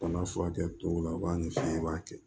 Bana furakɛ tɔw la u b'a ɲɛsin i b'a kɛ